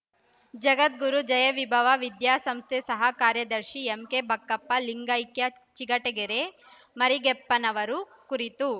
ಜಗದ್ಗುರು ಜಯವಿಭವ ವಿದ್ಯಾಸಂಸ್ಥೆ ಸಹ ಕಾರ್ಯದರ್ಶಿ ಎಂಕೆ ಬಕ್ಕಪ್ಪ ಲಿಂಗೈಕ್ಯ ಚಿಗಟೇರಿ ಮರಿಗೆಪ್ಪನವರ ಕುರಿತು